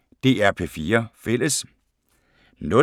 DR P4 Fælles